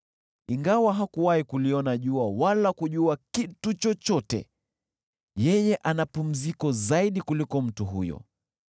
Ingawa hakuwahi kuliona jua wala kujua kitu chochote, yeye ana pumziko zaidi kuliko mtu huyo,